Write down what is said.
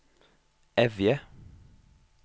Evje